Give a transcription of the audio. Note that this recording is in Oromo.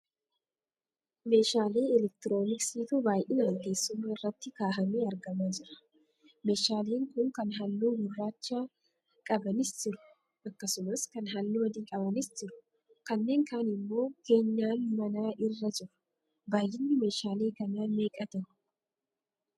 Meeshaalee electrooniksiitu baayinaan teessuma irratti kahaamee argamaa jira. Meeshaaleen kun kan halluu gurraacha qabanis jiru; akkasumallee kan halluu adii qabanis jiru. Kanneen kaan immoo keenyaan manaa irra jiru. baayyinni meeshaalee kanaa meeqa tahu?